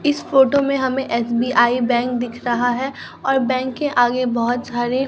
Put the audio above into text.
इस फोटो में हमें एस_बी_आई बैंक दिख रहा है और बैंक के आगे बहोत सारे--